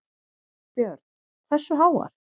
Björn: Hversu háar?